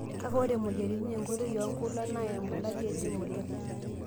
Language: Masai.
Kake ore moyiaritin enkoitoi oonkulak naa embulati ejing' oleng'.